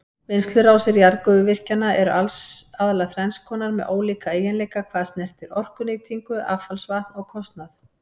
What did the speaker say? Vinnslurásir jarðgufuvirkjana eru aðallega þrenns konar með ólíka eiginleika hvað snertir orkunýtingu, affallsvatn og kostnað.